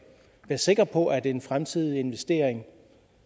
være sikre på at en fremtidig investering